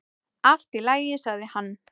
"""Allt í lagi, sagði hann."""